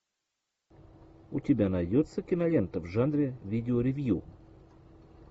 у тебя найдется кинолента в жанре видео ревью